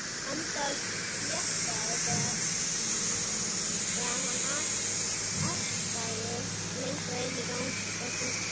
Andaði léttar þegar hann arkaði lengra inn á ganginn.